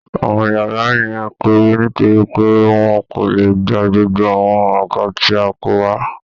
Àwọn yàrá yẹn kéré nítorí pé wọ́n kò lè gba gbogbo àwọn àga tí a kó wá